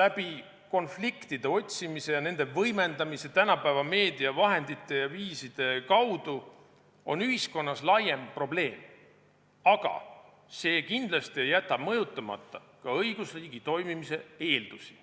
läbi konfliktide otsimise ning nende võimendamise tänapäeva meediavahendite ja viiside kaudu on ühiskonnas laiem probleem, aga see ei jäta kindlasti mõjutamata ka õigusriigi toimimise eeldusi.